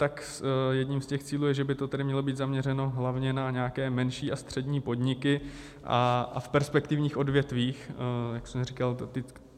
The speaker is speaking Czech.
Tak jedním z těch cílů je, že by to tedy mělo být zaměřeno hlavně na nějaké menší a střední podniky a v perspektivních odvětvích, jak jsem říkal.